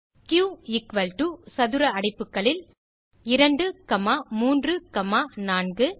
Q equal to சதுர அடைப்புகளில் 2 comma 3 comma 4